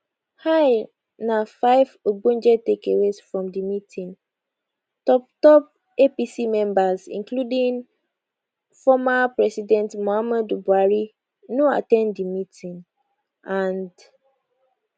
hia na five ogbonge takeaways from di meeting toptop apc members including former president muhammadu buhari no at ten d di meeting and